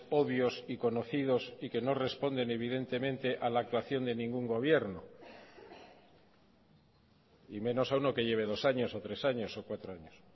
obvios y conocidos y que no responden evidentemente a la actuación de ningún gobierno y menos a uno que lleve dos años o tres años o cuatro años